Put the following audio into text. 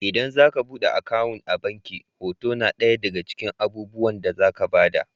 Idan za a buɗe akawun a abnki hoto na ɗaya daga cikin abubuwan da za ka ba da.